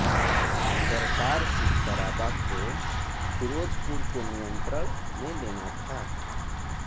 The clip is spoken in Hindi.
करतार सिंह सराबा को फिरोजपुर को नियंत्रण में लेना था